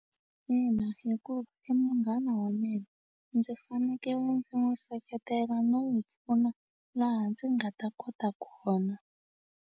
Ina hikuva i munghana wa mina ndzi fanekele ndzi n'wu seketela no n'wu pfuna laha ndzi nga ta kota kona.